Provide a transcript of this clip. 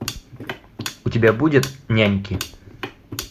у тебя будет няньки